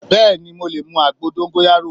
Bẹ́ẹ̀ni mo lè mu àgbo dóngóyárò